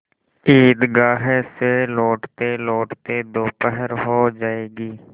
ईदगाह से लौटतेलौटते दोपहर हो जाएगी